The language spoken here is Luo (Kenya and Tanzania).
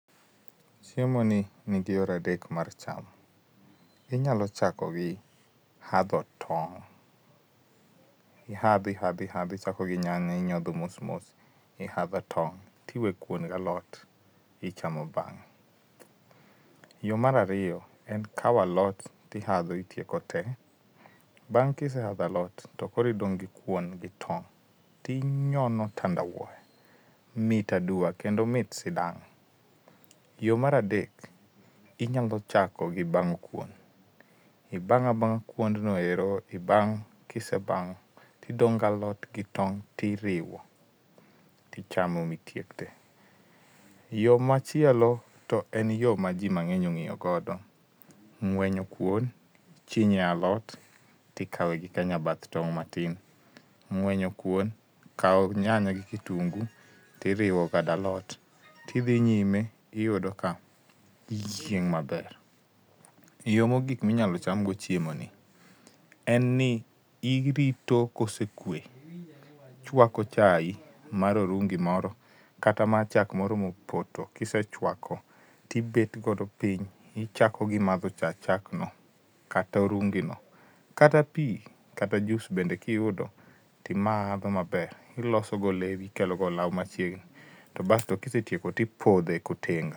Chiemo ni nigi yore adek mar chamo, inyalo chako gi hadho tong, ihadh ihadh ihadhi ichako gi nyanya, inyodho mos mos ihadho tong tiwe Kwon gi alot ichamo bang'e, yo mar ariyo en kaw alot tihadho itieko tee, bang kisehadho alot to Koro idong gi Kwon gi tong tinyono tandawuoya mit adua kendo mit sidang' yo mar adek inyalo chako gi bang'o Kwon, ibang'abang' kwond no ero ibang' kisebang'o tidong' gi alot gi tong' tiriwo tichamo mi itieko tee. Yo machielo to en yo ma ji mang'eny ong'iyo godo, ng'wenyo Kwon chinye alot tikawe gi ka nyabath tong' matin, ng'wenyo Kwon kaw nyanya gi kitungu tiriwo galot tidhi nyime iyudo ka iyieng' amber yo mogik minyalo Cham go chiemo ni en ni irito kosekwee ichako chae mar orungi moro kata mar chak moro mopoto kisechwako Tibet godo piny tichamo gi madho chaa chak no kataorungi no kata pii kata juice bende timaadho maber iloso go dhogi bas to kisetieko tipodhee ka otenga.